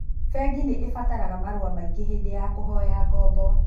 Bengi nĩ ibataraga marũa maingĩ hĩndĩ ya kũhoya ngombo.